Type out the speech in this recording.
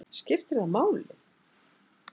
Skiptir það máli?